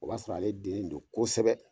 O b'a sɔrɔ ale dennen don kosɛbɛ !